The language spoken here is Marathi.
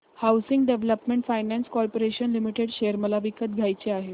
housing development finance corporation limited share मला विकत घ्यायचे आहेत